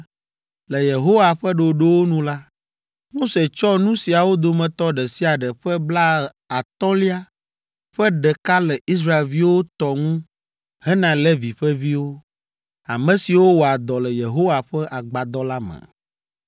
Le Yehowa ƒe ɖoɖowo nu la, Mose tsɔ nu siawo dometɔ ɖe sia ɖe ƒe blaatɔ̃lia ƒe ɖeka le Israelviwo tɔ ŋu hena Levi ƒe viwo, ame siwo wɔa dɔ le Yehowa ƒe agbadɔ la me.